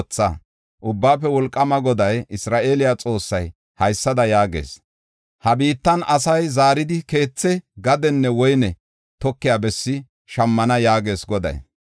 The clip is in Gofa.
Ubbaafe Wolqaama Goday, Isra7eele Xoossay, haysada yaagees: ha biittan asay zaaridi keethe, gadenne woyne tokiya bessi shammana” yaagees Goday.